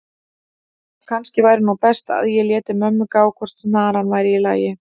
að kannski væri nú best að ég léti mömmu gá hvort snaran væri í lagi.